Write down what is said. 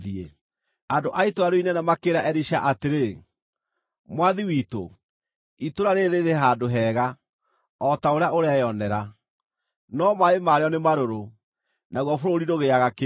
Andũ a itũũra rĩu inene makĩĩra Elisha atĩrĩ, “Mwathi witũ, itũũra rĩĩrĩ rĩrĩ handũ hega, o ta ũrĩa ũreyonera, no maaĩ marĩo nĩ marũrũ, naguo bũrũri ndũgĩaga kĩndũ.”